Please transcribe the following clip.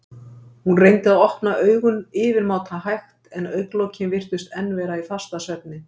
Hún reyndi að opna augun yfirmáta hægt en augnlokin virtust enn vera í fastasvefni.